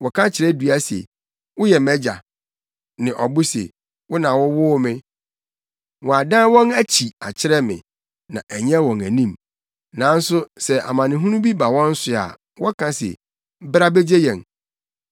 Wɔka kyerɛ dua se, ‘Woyɛ mʼagya,’ ne ɔbo se, ‘Wo na wowoo me.’ Wɔadan wɔn akyi akyerɛ me na ɛnyɛ wɔn anim; nanso sɛ amanehunu bi ba wɔn so a, wɔka se, ‘Bra begye yɛn!’